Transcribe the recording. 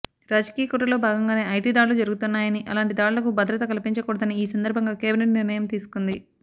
రాజకీయ కుట్రలో భాగంగానే ఐటీ దాడులు జరుగుతున్నాయని అలాంటి దాడులకు భద్రత కల్పించకూడదని ఈ సందర్భంగా కేబినేట్ నిర్ణయం తీసుకుంది